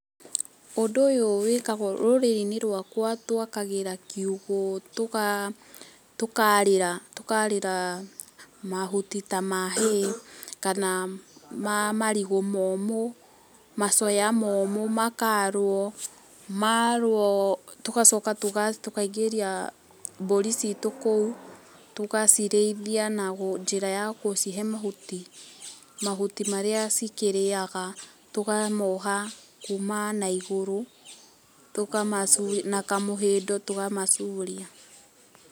Ũndũ ũyũ wĩkagwo, rũrĩrĩ-inĩ rwakwa twakagĩra kiũgũ, tũkarĩra, tũkarĩra mahuti ta ma hay, kana ma marigũ mũmũ, macoya mũmũ makarwo. Marwo tũgacoka tũngaingĩria mbũri citũ kũu, tũgacirĩithia na njĩra ya gũcihe mahũti. Mahũti marĩa cikĩrĩaga, tũkamoha kuma na igũrũ, tũkamacuria, na ka mohĩndũ tũkamacuria.